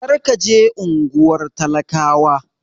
Kar ka je unguwar talakawa!